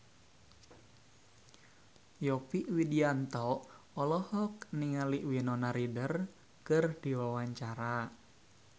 Yovie Widianto olohok ningali Winona Ryder keur diwawancara